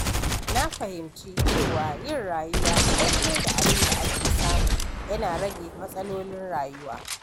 Na fahimci cewa yin rayuwa daidai da abin da ake samu yana rage matsalolin rayuwa.